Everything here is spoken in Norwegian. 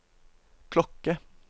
klokke